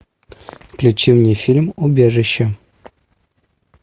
включи мне фильм убежище